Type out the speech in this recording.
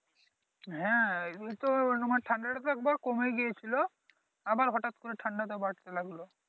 হ্যাঁ ঠান্ডাটা তো একবার কমে গিয়েছিলো আবার হঠাৎ করে ঠান্ডাটা বাড়তে লাগলো